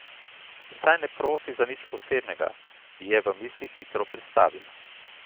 Saj ne prosi za nič posebnega, je v mislih hitro pristavila.